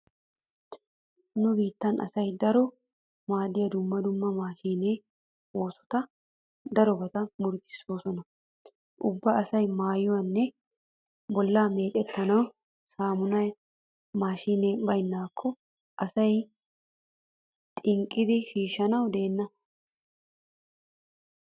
Nu biittan asaa daro maaddiya dumma dumma maashiine oosoti darobata murutissoosona. Ubba asay maayuwanne bollaa meecettanawu saamunaa maashiinee baynnaakko asay xinqqidi shiishshanawu deenna.